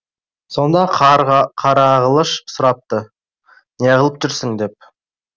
сонда қарағылыш сұрапты неғылып жүрсің деп